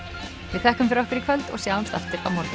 við þökkum fyrir okkur í kvöld og sjáumst aftur á morgun